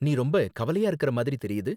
நீ ரொம்ப கவலையா இருக்கிற மாதிரி தெரியுது.